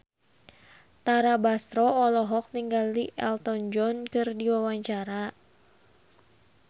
Tara Basro olohok ningali Elton John keur diwawancara